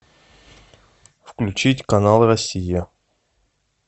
включить канал россия